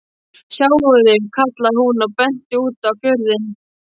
Sjáiði, kallaði hún og benti út á fjörðinn.